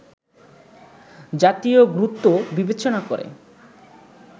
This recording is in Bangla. জাতীয় গুরুত্ব বিবেচেনা করে